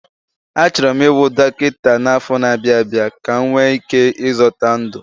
Achọrọ m ịbụ dọkịta n'afọ na-abịa abịa ka m nwee ike ịzọta ndụ